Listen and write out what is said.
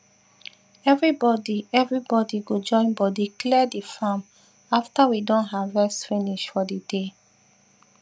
everybody everybody go join body clear the farm after we don harvest finish for the day